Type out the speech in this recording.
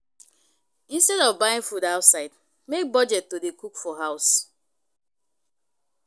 Instead of buying food outside make budget to dey cook for house